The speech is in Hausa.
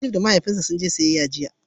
Najma da Mahaifinta sun je siyayya jiya.